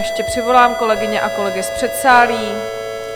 Ještě přivolám kolegyně a kolegy z předsálí.